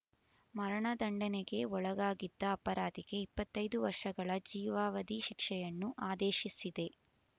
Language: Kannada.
ಮರಣ ದಂಡನೆಗೆ ಒಳಗಾಗಿದ್ದ ಅಪರಾಧಿಗೆ ಇಪ್ಪತ್ತೈದು ವರ್ಷಗಳ ಜೀವಾವಧಿ ಶಿಕ್ಷೆಯನ್ನು ಆದೇಶಿಸಿದೆ